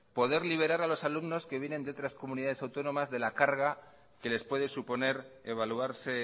poder liberar a los alumnos que vienen de otras comunidades autónomas de la carga que les puede suponer evaluarse